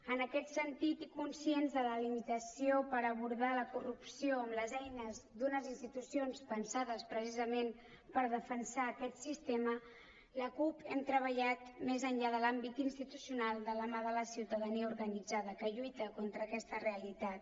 en aquest sentit i conscients de la limitació per abordar la corrupció amb les eines d’unes institucions pensades precisament per defensar aquest sistema a la cup hem treballat més enllà de l’àmbit institucional de la mà de la ciutadania organitza que lluita contra aquesta realitat